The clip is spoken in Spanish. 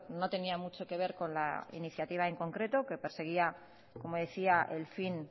no tenía mucho que ver con la iniciativa en concreto que perseguía como decía el fin